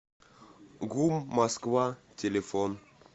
гум москва телефон